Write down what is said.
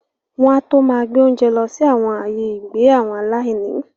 wọn á tó máa gbé oúnjẹ lọsí awọn “ ààyè ìgbé àwọn aláìní ”.